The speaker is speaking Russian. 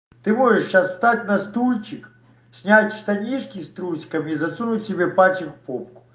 ты можешь сейчас встать на стульчик снять штанишки с трусиками и засунуть себе пальчик в попу